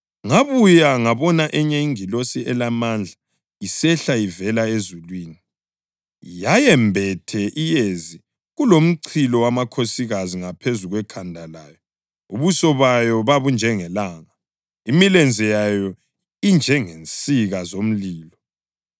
Ngabuya ngabona enye ingilosi elamandla isehla ivela ezulwini. Yayembethe iyezi kulomchilo wamakhosikazi ngaphezu kwekhanda layo; ubuso bayo babunjengelanga; imilenze yayo injengensika zomlilo.